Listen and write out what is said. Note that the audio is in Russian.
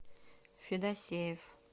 федосеев